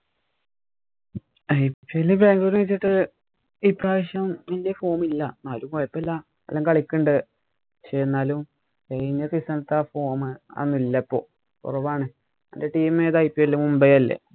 IPL Bangalore വച്ചിട്ട് ഇപ്രാവശ്യം വലിയ form ഇല്ല. എന്നാലും കുഴപ്പമില്ല. എല്ലാം കളിക്കണുണ്ട്. പക്ഷേ കഴിഞ്ഞ season അത്തെ ആ form ആവുന്നില്ല ഇപ്പൊ കുറവാണ്. അന്‍റെ team ഏതാണ് IPL മുംബൈ അല്ലേ.